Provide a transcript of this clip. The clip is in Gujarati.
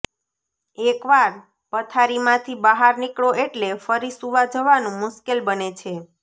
એક વાર પથારીમાંથી બહાર નીકળો એટલે ફરી સૂવા જવાનું મુશ્કેલ બને છે